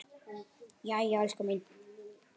Jæja, elskan mín.